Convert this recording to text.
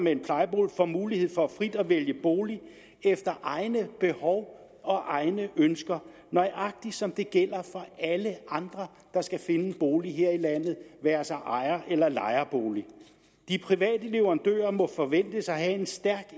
en plejebolig får mulighed for frit at vælge bolig efter egne behov og egne ønsker nøjagtig som det gælder for alle andre der skal finde en bolig her i landet være sig ejer eller lejebolig de private leverandører må forventes at have en stærk